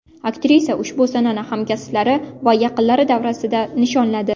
Aktrisa ushbu sanani hamkasblari va yaqinlari davrasida nishonladi.